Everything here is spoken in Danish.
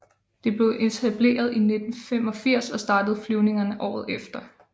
Det blev etableret i 1985 og startede flyvningerne året efter